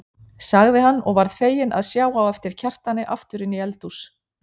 sagði hann og varð feginn að sjá á eftir Kjartani aftur inn í eldhús.